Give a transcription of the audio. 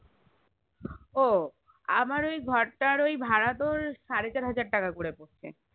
ও আমার ওই ঘরটার ওই ভাড়া তোর সাড়ে চারহাজার টাকা করে পড়ছে